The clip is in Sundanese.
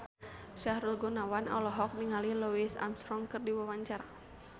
Sahrul Gunawan olohok ningali Louis Armstrong keur diwawancara